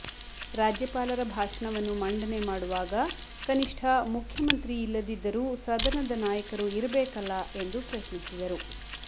ರಾಜ್ಯಪಾಲರ ಭಾಷಣವನ್ನು ಮಂಡನೆ ಮಾಡುವಾಗ ಕನಿಷ್ಠ ಮುಖ್ಯಮಂತ್ರಿ ಇಲ್ಲದಿದ್ದರೂ ಸದನದ ನಾಯಕರು ಇರಬೇಕಲ್ಲ ಎಂದು ಪ್ರಶ್ನಿಸಿದರು